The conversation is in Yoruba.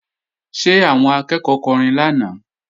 Ṣé àwọn akẹ́ẹ̀kọ́ kọrin lánàá?